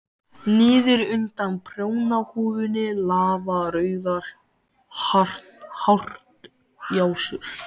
Jóhanna Margrét Gísladóttir: Og hvað hljópstu langt?